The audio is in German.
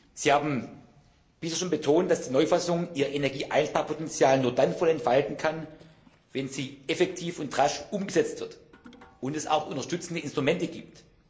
Sie haben bereits betont, dass die Neufassung ihr Energieeinsparpotenzial nur dann voll entfalten kann, wenn sie effektiv und rasch umgesetzt wird und es auch unterstützende Instrumente gibt.